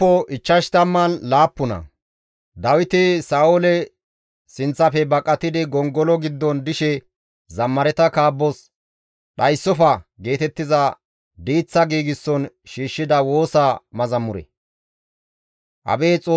Abeet Xoossawu! Ne taas qadhetta; tana maara; ta shemppoya nenan zemppadus; bashshay aadhdhana gakkanaas tani ne qefeta garsan qotettana.